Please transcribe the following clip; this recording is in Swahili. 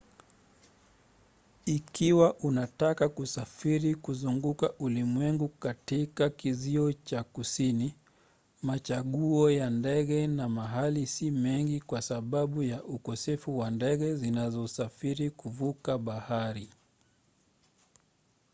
ikiwa unataka kusafiri kuzunguka ulimwengu katika kizio cha kusini machaguo ya ndege na mahali si mengi kwa sababu ya ukosefu wa ndege zinazosafiri kuvuka bahari